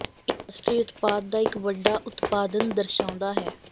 ਇਹ ਰਾਸ਼ਟਰੀ ਉਤਪਾਦ ਦਾ ਇੱਕ ਵੱਡਾ ਉਤਪਾਦਨ ਦਰਸਾਉਂਦਾ ਹੈ